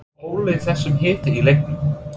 Hvað olli þessum hita í leiknum?